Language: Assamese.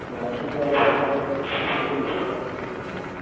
KYC এইবিলাক সব ঠিক কৰি লব লাগিব আৰু গৈ